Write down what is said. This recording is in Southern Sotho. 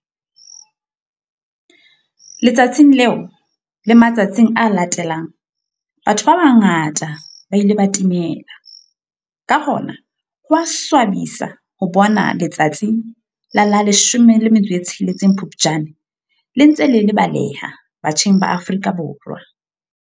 Letsatsing leo le matsatsing a latelang batho ba bangata ba ile ba timela. Ka hona ho a swabisa ho bona letsatsi la la 16 Phupjane le ntse le lebaleha batjheng ba Afrika Borwa.